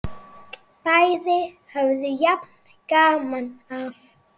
Bæði höfðu jafn gaman af!